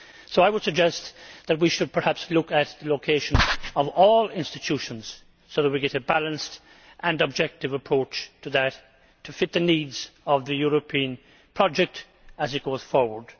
I would suggest that we should perhaps look at the location of all institutions so that we get a balanced and objective approach to the matter which matches the needs of the European project as it goes forward.